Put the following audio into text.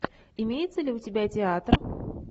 имеется ли у тебя театр